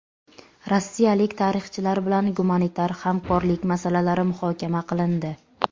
Rossiyalik tarixchilar bilan gumanitar hamkorlik masalalari muhokama qilindi.